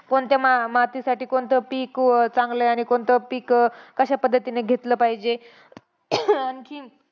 कोणत्या मा मातीसाठी कोणतं पिक व चांगलं आहे, आणि कोणतं पिक कशा पद्धतीने घेतलं पाहिजे. आणखी